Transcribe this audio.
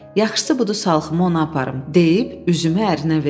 Yaxşısı budur salxımı ona aparım deyib üzümü ərinə verdi.